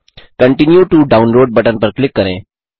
continue to download button पर click करें